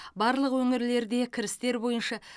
барлық өңірлерде кірістер бойынша